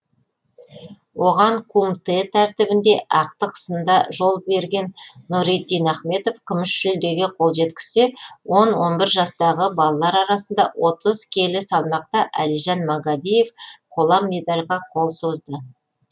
оған кумтэ тәртібінде ақтық сында жол берген нұриддин ахметов күміс жүлдеге қол жеткізсе он он бір жастағы балалар арасында отыз келі салмақта әлижан магадиев қола медальға қол созды